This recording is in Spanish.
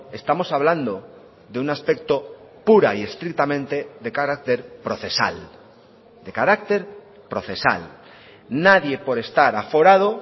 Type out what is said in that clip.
estamos hablando de un aspecto pura y estrictamente de carácter procesal de carácter procesal nadie por estar aforado